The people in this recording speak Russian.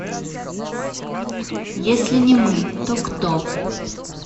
если не мы то кто